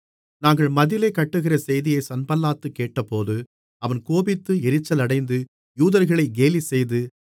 நாங்கள் மதிலைக் கட்டுகிற செய்தியை சன்பல்லாத் கேட்டபோது அவன் கோபித்து எரிச்சலடைந்து யூதர்களை கேலிசெய்து